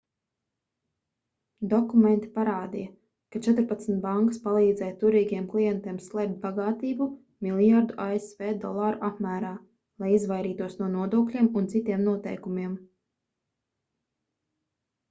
dokumenti parādīja ka četrpadsmit bankas palīdzēja turīgiem klientiem slēpt bagātību miljardu asv dolāru apmērā lai izvairītos no nodokļiem un citiem noteikumiem